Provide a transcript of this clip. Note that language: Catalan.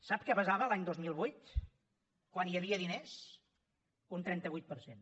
sap què pesava l’any dos mil vuit quan hi havia diners un trenta vuit per cent